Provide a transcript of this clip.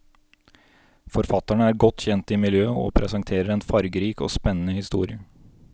Forfatterene er godt kjent i miljøet og presenterer en fargerik og spennende historie.